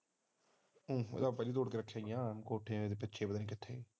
ਕੋਠੇ ਤੇ ਪਤਾ ਨਹੀਂ ਕਿੱਥੇ